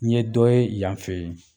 Ɲe dɔ ye yan fɛ ye